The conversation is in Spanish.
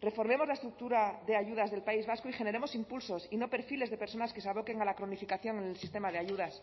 reformemos la estructura de ayudas del país vasco y generemos impulsos y no perfiles de personas que se aboquen a la cronificación en el sistema de ayudas